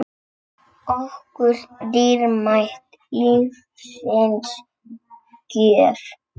okkur dýrmæt lífsins gjöf.